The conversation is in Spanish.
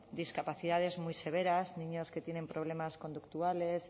discapacidades muy severas niños que tienen problemas conductuales